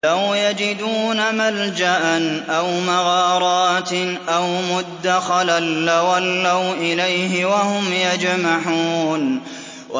لَوْ يَجِدُونَ مَلْجَأً أَوْ مَغَارَاتٍ أَوْ مُدَّخَلًا لَّوَلَّوْا إِلَيْهِ وَهُمْ يَجْمَحُونَ